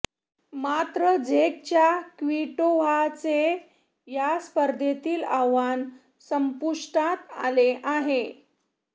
मात्र झेकच्या क्विटोव्हाचे या स्पर्धेतील आव्हान संपुष्टात आले आहे